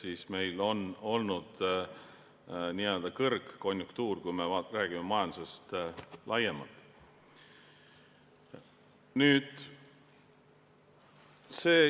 Ehk meil oli n-ö kõrgkonjunktuur, kui me räägime majandusest laiemalt.